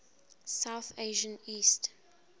south asian east